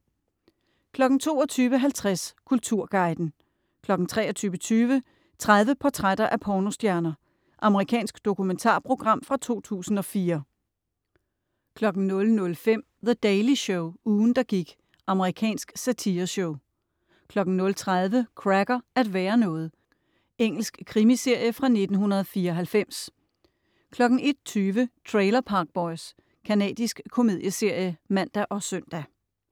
22.50 Kulturguiden 23.20 30 portrætter af pornostjerner. Amerikansk dokumentarprogram fra 2004 00.05 The Daily Show - ugen, der gik. Amerikansk satireshow 00.30 Cracker: At være noget. Engelsk krimiserie fra 1994 01.20 Trailer Park Boys. Canadisk komedieserie (man og søn)